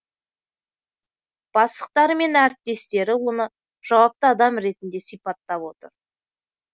бастықтары мен әріптестері оны жауапты адам ретінде сипаттап отыр